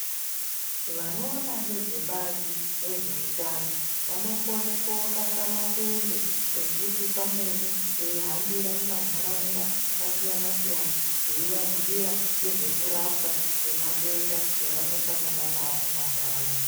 Vanoona ngezvebazi rezveutano vanokone kokaka matende ekuti pamweni veihambira mumantaraunda akasiyana siyana veivabhuyira ngezvekurapwa kwematenda evanosangana nawo mumantaraunda.